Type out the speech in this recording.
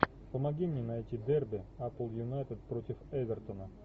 помоги мне найти дерби апл юнайтед против эвертона